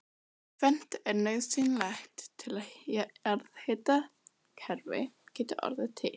Tvennt er nauðsynlegt til að jarðhitakerfi geti orðið til.